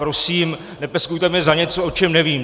Prosím, nepeskujte mě za něco, o čem nevím.